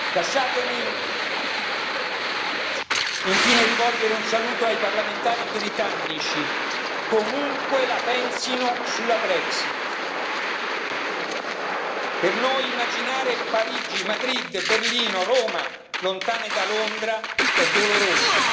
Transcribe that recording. Lasciatemi infine rivolgere un saluto ai parlamentari britannici, comunque la pensino sulla Brexit per noi immaginare Parigi, Madrid, Berlino, Roma lontane da Londra è doloroso.